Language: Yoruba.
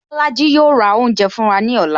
Bolaji yo ra oúnjẹ fún wa ní ọ̀la